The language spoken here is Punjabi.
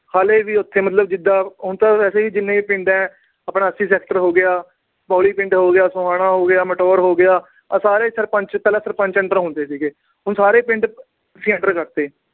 ਹਾਲੇ ਵੀ ਉਥੇ, ਮਤਲਬ ਜਿਦਾਂ ਹੁਣ ਤਾਂ ਵੈਸੇ ਜਿੰਨੇ ਵੀ ਆਪਣੇ ਪਿੰਡ ਆ, ਆਪਣਾ ਅੱਸੀ ਸੈਕਟਰ ਹੋ ਗਿਆ, ਬੋਹਲੀ ਪਿੰਡ ਹੋ ਗਿਆ, ਸੁਹਾਣਾ ਹੋ ਗਿਆ, ਮਟੋਰ ਹੋ ਗਿਆ। ਪਹਿਲਾ ਸਾਰੇ ਸਰਪੰਚ ਪਹਿਲਾ ਸਰਪੰਚ under ਹੁੰਦੇ ਸੀਗੇ। ਹੁਣ ਸਾਰੇ ਪਿੰਡ MC under ਕਰਤੇ।